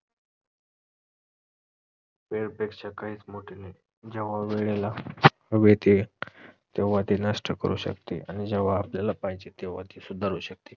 वेळेपेक्षा काहीच मोठे नाही. जेव्हा वेळेला तेव्हा ते नष्ट करू शकते आणि जेव्हा आपल्याला पाहिजे तेव्हा ती सुधारू शकते